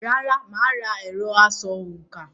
Rárá, mà á ra “ẹ̀rọ- asòǹkà”.